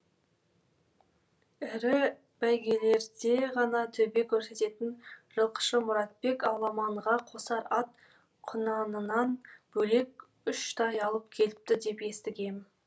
ірі бәйгелерде ғана төбе көрсететін жылқышы мұратбек аламанға қосар ат құнанынан бөлек үш тай алып келіпті деп естігем